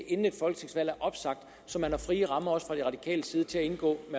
inden et folketingsvalg så man har frie rammer også fra de radikales side til at indgå